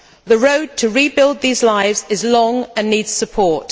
The road to rebuilding these lives is long and needs support.